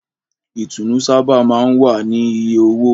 Ìtùnú sábà máa ń wá ní iye owó.